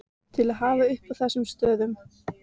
til að hafa uppi á þessum stöðum.